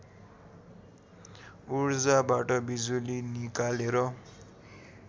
उर्जाबाट बिजुली निकालेर